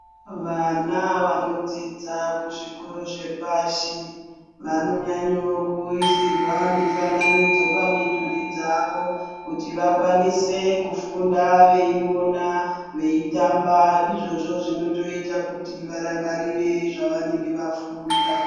Vana vanodzidza kuzvikoro zvepashi vanonyanyo kuisirwa mifananidzo pamidhuri dzavo kuti vakwanise kufunda veiona, veitamba. Izvozvo zvinotoita kuti varangarire zvavanenge vafunda.